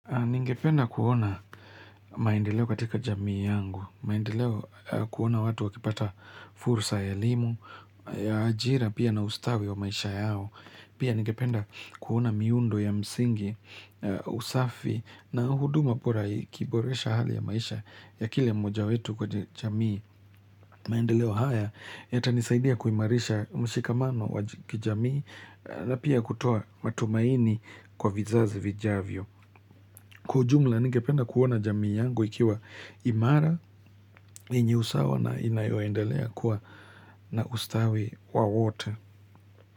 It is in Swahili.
Ningependa kuona maendeleo katika jamii yangu, maendeleo kuona watu wakipata furusa ya elimu, ya ajira pia na ustawi wa maisha yao. Pia ningependa kuona miundo ya msingi, usafi na huduma pora ikiboresha hali ya maisha ya kile mmoja wetu kwa jamii. Maendeleo haya yatanisaidia kuimarisha mshikamano wa kijamii na pia kutoa matumaini kwa vizazi vijavyo. Kwa ujumla ningependa kuona jami yangu ikiwa imara enye usawa na inayoendelea kuwa na ustawi wa wote.